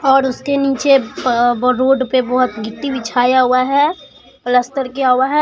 और उसके नीचे अं रोड पे बहोत गिट्टी बिछाया हुआ है पलस्तर किया हुआ है।